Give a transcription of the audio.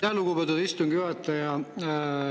Aitäh, lugupeetud istungi juhataja!